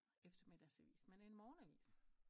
Eftermiddagsavis men en morgenavis